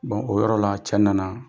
o yɔrɔ la cɛ nana,